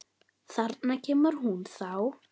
Þarna kemur hún þá!